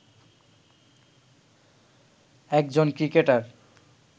একজন ক্রিকেটার